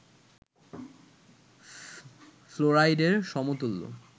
ফ্লোরাইডের সমতুল্য